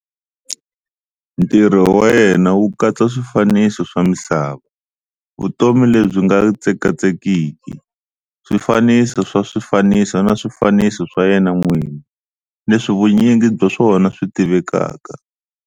Ntirho wa yena wu katsa swifaniso swa misava, vutomi lebyi nga tsekatsekiki, swifaniso swa swifaniso na swifaniso swa yena n'wini, leswi vunyingi bya swona swi tivekaka